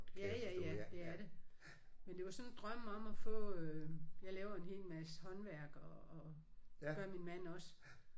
Ja ja ja det er det. Men det var sådan en drøm om at få øh jeg laver en hel masse håndværk og og det gør min mand også